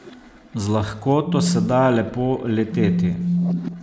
Z lahkoto se da lepo leteti.